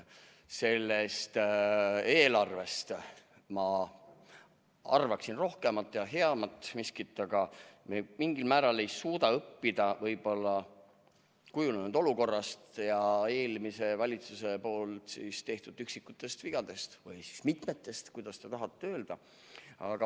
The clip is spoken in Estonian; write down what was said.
Sellest eelarvest ma arvaksin rohkemat ja heamat, aga me mingil määral ei suuda õppida kujunenud olukorrast ja eelmise valitsuse tehtud üksikutest vigadest – või mitmetest, kuidas keegi tahab öelda.